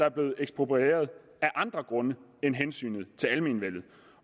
er blevet eksproprieret af andre grunde end hensynet til almenvellet